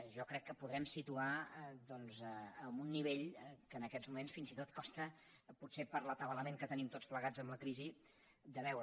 jo crec que podrem situarles en un nivell que en aquests moments fins i tot costa potser per l’atabalament que tenim tots plegats amb la crisi de veure